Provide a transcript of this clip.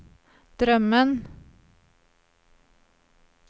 drömmen